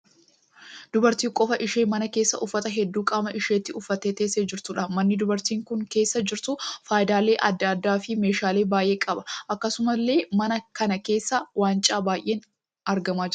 Dubartii qofaa ishee mana keessa uffata hedduu qaama isheetti uffattee teessee jirtuudha. Manni dubartiin kun keessa jirtu faayyaalee adda addaa fi meeshaalee baay'ee qaba. Akkasumallee mana kana keessa waancaa baay'een argamaa jira.